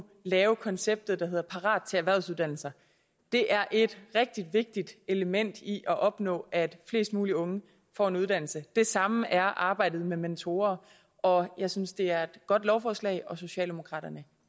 lave et koncept der hedder parat til erhvervsuddannelser det er et rigtig vigtigt element i at opnå at flest mulige unge får en uddannelse det samme er arbejdet med mentorer og jeg synes det er et godt lovforslag socialdemokraterne